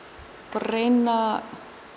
reyna